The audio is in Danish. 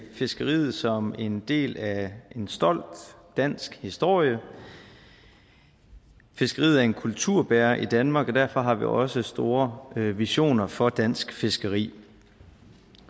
fiskeriet som en del af en stolt dansk historie fiskeriet er en kulturbærer i danmark og derfor har vi også store visioner for dansk fiskeri